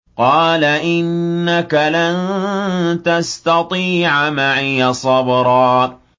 قَالَ إِنَّكَ لَن تَسْتَطِيعَ مَعِيَ صَبْرًا